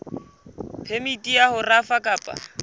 phemiti ya ho rafa kapa